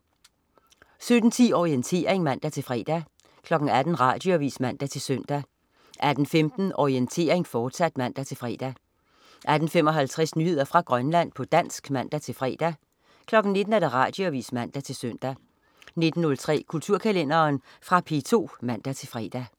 17.10 Orientering (man-fre) 18.00 Radioavis (man-søn) 18.15 Orientering, fortsat (man-fre) 18.55 Nyheder fra Grønland, på dansk (man-fre) 19.00 Radioavis (man-søn) 19.03 Kulturkalenderen. Fra P2 (man-fre)